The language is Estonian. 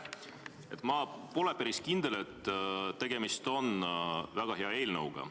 Ma pole päris kindel, et tegemist on väga hea eelnõuga.